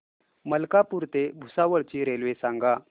मलकापूर ते भुसावळ ची रेल्वे सांगा